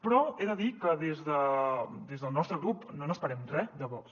però he de dir que des del nostre grup no n’esperem re de vox